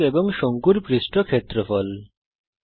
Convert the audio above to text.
গোলক এবং শঙ্কুর পৃষ্ঠ ক্ষেত্রফল